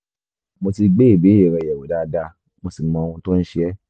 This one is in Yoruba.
mo ti gbé ìbéèrè rẹ yẹ̀wò dáadáa mo sì mọ ohun tó ń ṣe ẹ́